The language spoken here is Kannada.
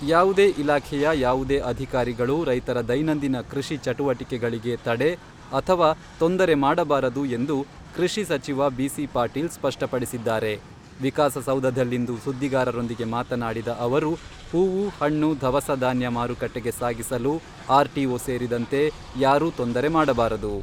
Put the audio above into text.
ಯಾವುದೇ ಇಲಾಖೆಯ ಯಾವುದೇ ಅಧಿಕಾರಿಗಳು ರೈತರ ದೈನಂದಿನ ಕೃಷಿ ಚಟುವಟಿಕೆಗಳಿಗೆ ತಡೆ ಅಥವಾ ತೊಂದರೆ ಮಾಡಬಾರದು ಎಂದು ಕೃಷಿ ಸಚಿವ ಬಿ.ಸಿ.ಪಾಟೀಲ್ ಸ್ಪಷ್ಟಪಡಿಸಿದ್ದಾರೆ.ವಿಕಾಸಸೌಧದಲ್ಲಿಂದು ಸುದ್ದಿಗಾರರೊಂದಿಗೆ ಮಾತನಾಡಿದ ಸಚಿವರು ಹೂವು, ಹಣ್ಣು, ದವಸ ಧಾನ್ಯ ಮಾರುಕಟ್ಟೆಗೆ ಸಾಗಿಸಲು ಆರ್.ಟಿ.ಓ ಸೇರಿದಂತೆ ಯಾರೂ ತೊಂದರೆ ಮಾಡಬಾರದು.